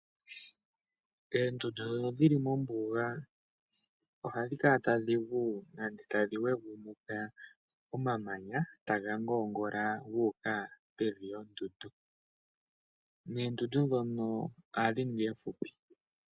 Eendundu ndhono dhili mombuga ohadhi kala tadhigu nande tadhi yogumunuka omamanya taga ngoongola guuka pevi yondundu noondundu ndhono ohadhi ningi oomfupi.